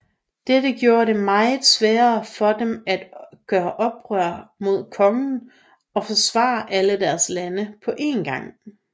Dette gjorde det meget sværere for dem at gøre oprør mod kongen og forsvare alle deres lande på én gang